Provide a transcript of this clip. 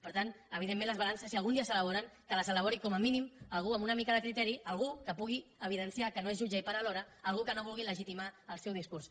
per tant evidentment les balances si algun dia s’ela·boren que les elabori com a mínim algú amb una mi·ca de criteri algú que pugui evidenciar que no és jut·ge i part alhora algú que no vulgui legitimar el seu discurs